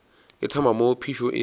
e thoma moo phišo e